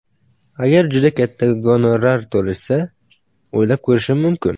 Agar juda katta gonorar to‘lashsa, o‘ylab ko‘rishim mumkin.